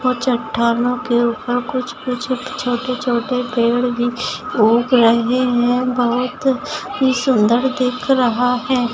--और चट्टानों के ऊपर कुछ-कुछ छोटे-छोटे पेड़ भी उग रहे है बहुत ही सुन्दर दिख रहा है।